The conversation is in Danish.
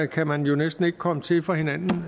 kan man jo næsten ikke komme til for hinanden